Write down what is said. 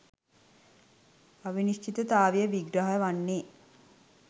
අවිනිශ්චිතතාවය විග්‍රහ වන්නේ